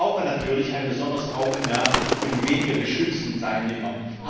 Wir brauchen natürlich ein besonderes Augenmerk für die weniger geschützten Teilnehmer.